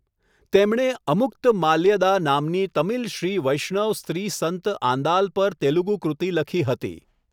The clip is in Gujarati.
તેમણે અમુક્તમાલ્યદા નામની તમિલ શ્રી વૈષ્ણવ સ્ત્રી સંત આંદાલ પર તેલુગુ કૃતિ લખી હતી.